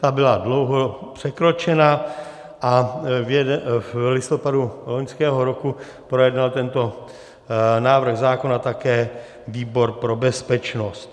Ta byla dlouho překročena a v listopadu loňského roku projednal tento návrh zákona také výbor pro bezpečnost.